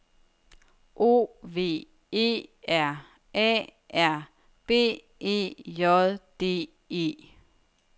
O V E R A R B E J D E